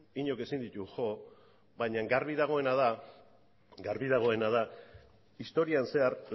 inork ezin ditu jo baina garbi dagoena da historian zehar